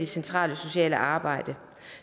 centrale sociale arbejde